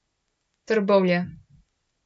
Trbovlje.